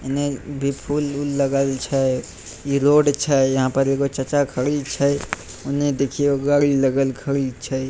इने भी फूल उल लगल छै इ रोड छै एगो चाचा खड़ी छै उने देखियो गाड़ी लगल खड़ी छै।